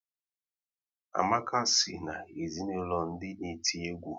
Amaka si na ezinaụlọ ndị n'eti egwu